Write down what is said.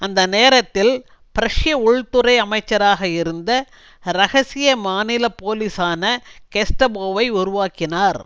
அந்த நேரத்தில் பிரஷ்ய உள்துறை அமைச்சராக இருந்த இரகசிய மாநில போலீசான கெஸ்டபோவை உருவாக்கினார்